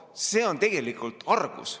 See on tegelikult argus.